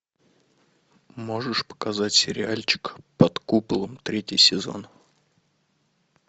можешь показать сериальчик под куполом третий сезон